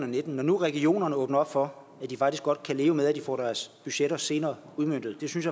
og nitten når nu regionerne åbner op for at de faktisk godt kan leve med at de får deres budgetter senere udmøntet synes